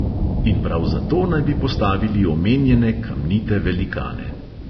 In prav zato naj bi postavili omenjene kamnite velikane.